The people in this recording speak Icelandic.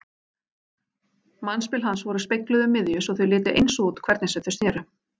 Mannspil hans voru spegluð um miðju svo þau litu eins út hvernig sem þau sneru.